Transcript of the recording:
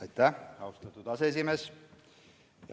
Aitäh, austatud aseesimees!